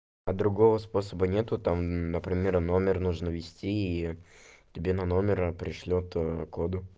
а другого способа нет там например номер нужно ввести и тебе на номера пришлёт код